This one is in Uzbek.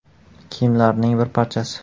kiyimlarining bir parchasi.